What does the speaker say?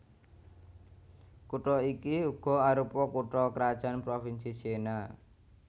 Kutha iki uga arupa kutha krajan provinsi Siena